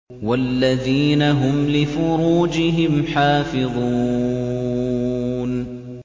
وَالَّذِينَ هُمْ لِفُرُوجِهِمْ حَافِظُونَ